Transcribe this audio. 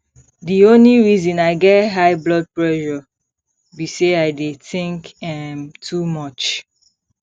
the only reason i get high blood pressure be say i dey think um too much